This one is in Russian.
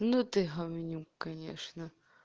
ну ты говнюк конечно